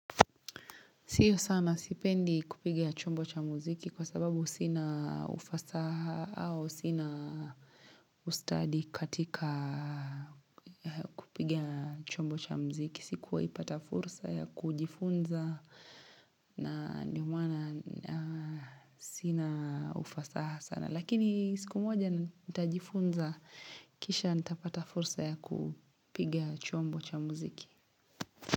Sio sana sipendi kupigia chombo cha muziki kwa sababu sina ufasaha au sina ustadi katika kupigia chombo cha muziki. Sikuwaipata fursa ya kujifunza na ndio maana sina ufasaha sana. Lakini siku moja nitajifunza kisha nitapata fursa ya kupiga chombo cha muziki.